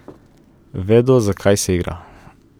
Vedo, za kaj se igra.